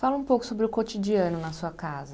Fala um pouco sobre o cotidiano na sua casa.